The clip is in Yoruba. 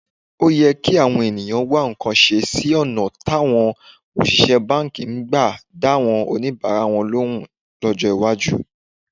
Ó yẹ káwọn ènìyàn wá nǹkan ṣe sí ọ̀nà táwọn òṣìṣẹ́ báǹkì máa gbà dáwọn oníbàárà lóhùn lọ́jọ́ iwájú